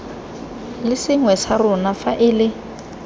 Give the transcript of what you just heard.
le sengwe sa rona faele